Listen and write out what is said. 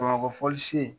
Bamakɔ fɔli sen